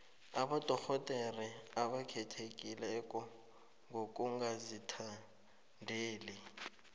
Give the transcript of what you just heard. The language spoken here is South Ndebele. abodorhodere abakhethekileko ngokungazithandeli